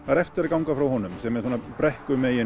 er eftir að ganga frá honum sem er svona